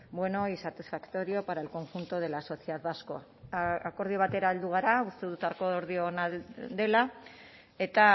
bueno y satisfactorio para el conjunto de la sociedad vasca akordio batera heldu gara uste dut akordio ona dela eta